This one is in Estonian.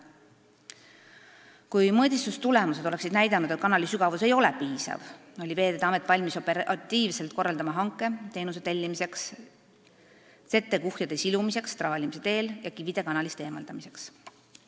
Selleks puhuks, kui mõõtmistulemused oleksid näidanud, et kanali sügavus ei ole piisav, oli Veeteede Amet valmis operatiivselt korraldama hanke teenuse tellimiseks, settekuhjade silumiseks traalimise teel ja kivide kanalist eemaldamiseks.